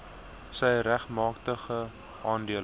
sy regmatige aandeel